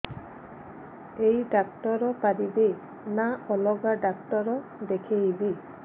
ଏଇ ଡ଼ାକ୍ତର ପାରିବେ ନା ଅଲଗା ଡ଼ାକ୍ତର ଦେଖେଇବି